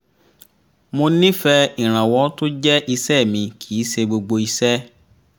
mo nífẹ̀ẹ́ iranwọ́ tó jẹ́ iṣẹ́ mi kì í ṣe gbogbo iṣẹ́